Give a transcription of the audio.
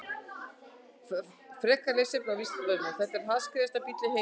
Frekara lesefni á Vísindavefnum: Hver er hraðskreiðasti bíll í heimi?